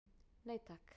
Nei takk.